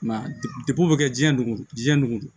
Mɛ degu bɛ kɛ diɲɛ nugu jiɲɛ nugu